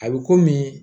A bɛ komi